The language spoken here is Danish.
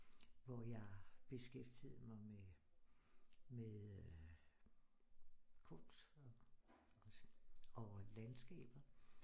Og jeg beskæftigede mig med med øh kunst og landskaber